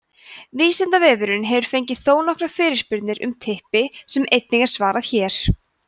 vísindavefurinn hefur fengið þónokkuð af spurningum um typpi sem einnig er svarað hér